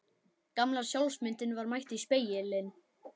Gamla sjálfsmyndin var mætt í spegilinn.